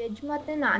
veg ಮತ್ತೆ non-veg .